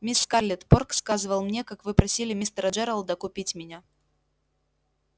мисс скарлетт порк сказывал мне как вы просили мистера джералда купить меня